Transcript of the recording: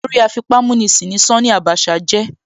Olórí afipámúnisìn ni Ṣání Àbáṣà jẹ́.